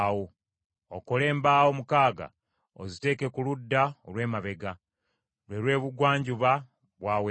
Okole embaawo mukaaga oziteeke ku ludda olw’emabega, lwe lw’ebugwanjuba bwa Weema;